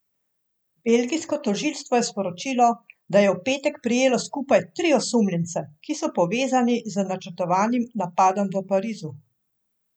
Belgijsko tožilstvo je sporočilo, da je v petek prijelo skupaj tri osumljence, ki so povezani z načrtovanim napadom v Parizu.